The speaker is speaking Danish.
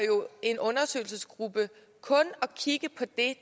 jo en undersøgelsesgruppe kun at kigge på det